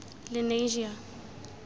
lenasia